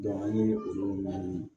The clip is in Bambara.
an ye olu ɲɛɲini